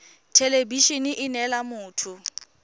thelebi ene e neela motho